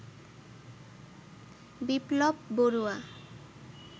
Biplab Barua